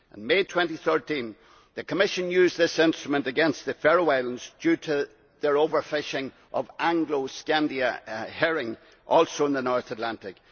In May2013, the Commission used this instrument against the Faroe Islands, due to their over fishing of Anglo Scandia herring, also in the North Atlantic.